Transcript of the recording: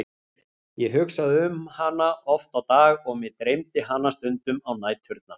Ég hugsaði um hana oft á dag og mig dreymdi hana stundum á næturnar.